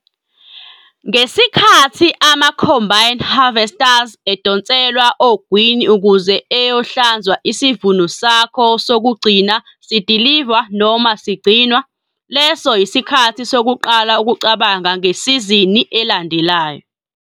NGESIKHATHI AMA-COMBINE HARVESTERS EDONSELWA OGWINI UKUZE EYOHLANZWA ISIVUNO SAKHO SOKUGCINA SIDILIVWA NOMA SIGCINWA, LESO YISIKHATHI SOKUQALA UKUCABANGA NGESIZINI ELANDELAYO.